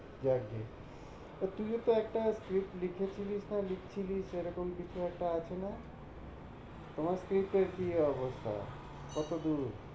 যাক গিয়ে। তো তুই ও তো একটা script লিখেছিলি বা লিখছিলি সেরকম কিছু একটা আছেনা, তোমার script এর কি অবস্থা, কতদূর?